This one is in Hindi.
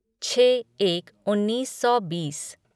छः एक उन्नीस सौ बीस